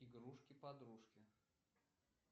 игрушки подружки